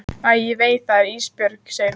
Æ ég veit það ekki Ísbjörg, segir hún.